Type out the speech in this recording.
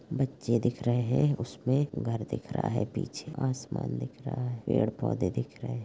बच्चे दिख रहे हैं उसमें घर दिख रहा है पीछे आसमान दिख रहा है पेड़-पौधे दिख रहे है।